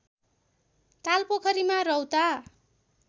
ताल पोखरीमा रौता